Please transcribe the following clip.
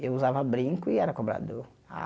Eu usava brinco e era cobrador. A